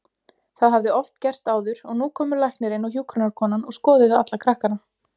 Það hafði oft gerst áður og nú komu læknirinn og hjúkrunarkonan og skoðuðu alla krakkana.